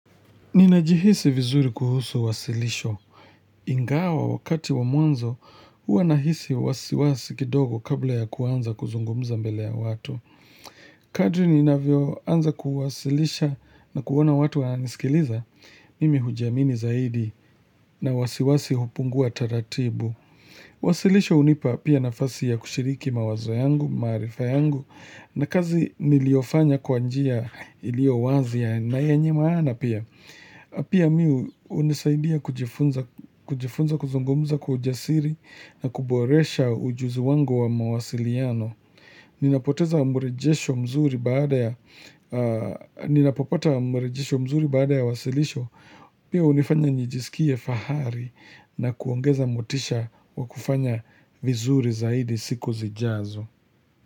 Ninajihisi vizuri kuhusu wasilisho. Ingawa wakati wa mwanzo, hua nahisi wasiwasi kidogo kabla ya kuanza kuzungumuza mbele ya watu. Kadri ninavyoanza kuwasilisha na kuona watu wananisikiliza, mimi hujiamini zaidi na wasiwasi hupungua taratibu. Wasilisho unipa pia nafasi ya kushiriki mawazo yangu, maarifa yangu, na kazi niliofanya kwanjia ilio wazi na yenye maana pia. Pia mimi hunisaidia kujifunza kuzungumza kwa ujasiri na kuboresha ujuzi wangu wa mawasiliano. Ninapopata mwerejesho mzuri baada ya wasilisho, pia unifanya njiskie fahari na kuongeza motisha wa kufanya vizuri zaidi siku zijazo.